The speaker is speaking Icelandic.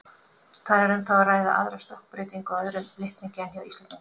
Þar er þó um að ræða aðra stökkbreytingu á öðrum litningi en hjá Íslendingum.